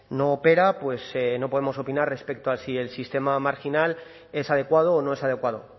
no opera no podemos opinar respecto a si el sistema marginal es adecuado o no es adecuado